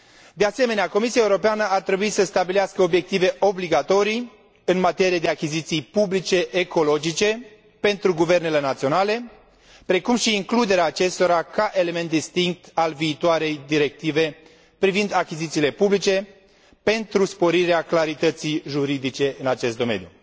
De asemenea, Comisia Europeană ar trebui să stabilească obiective obligatorii în materie de achiziții publice ecologice pentru guvernele naționale, precum și includerea acestora ca element distinct al viitoarei directive privind achizițiile publice, pentru sporirea clarității juridice în acest domeniu.